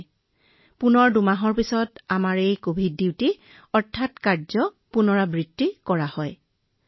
তাৰ পিছত ২ মাহৰ পিছত আমাৰ এই কভিড কৰ্তব্যবোৰৰ পুনৰাবৃত্তি কৰা হয় মহোদয়